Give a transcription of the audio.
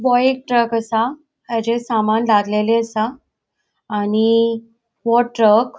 हो एक ट्रक असा हाचे समान लादलेले असा आणि वो ट्रक --